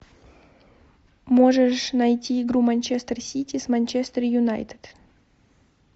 можешь найти игру манчестер сити с манчестер юнайтед